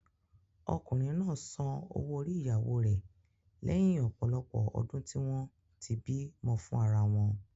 Ọkùnrin náà san owó orí ìyàwóo rẹ lẹhin ọ̀pọ̀lọpọ̀ ọdún tí wọ́n tí bímọ fún ara wọn.